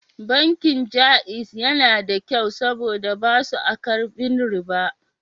Bankin Jaiz na da kyau saboda ba su a karbin riba